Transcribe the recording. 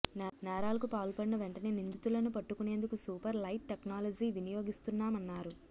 నేరాలకు పాల్పడిన వెంటనే నిందితులను పట్టుకునేందుకు సూపర్ లైట్ టెక్నాలజీ వినియోగిస్తున్నామన్నారు